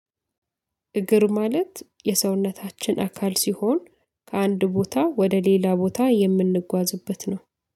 እግር ማለት የሰውነታችን አካል ሲሆን ከአንድ ቦታ ወደ ሌላ ቦታ የምንጓዝበት ነው